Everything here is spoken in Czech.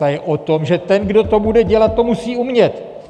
Ta je o tom, že ten, kdo to bude dělat, to musí umět!